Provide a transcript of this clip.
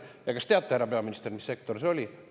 Ja kas teate, härra peaminister, mis sektor see oli?